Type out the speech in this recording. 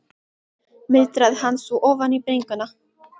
muldraði hann svo ofan í bringuna.